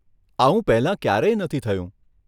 આવું પહેલા ક્યારેય નથી થયું.